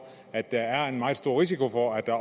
at der er en meget stor risiko for at